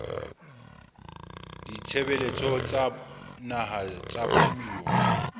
ditshebeletso tsa naha tsa puo